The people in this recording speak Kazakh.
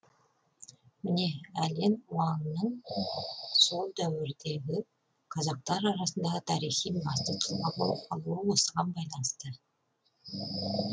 міне әлен уаңның сол дәуірдегі қазақтар арасындағы тарихи басты тұлға болып қалуы осыған байланысты